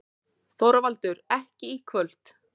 ÞORVALDUR: Ekki í kvöld.